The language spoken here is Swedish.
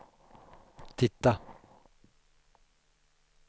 titta